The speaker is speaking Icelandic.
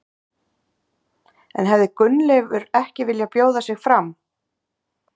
En hefði Gunnleifur ekki viljað bjóða sig fram?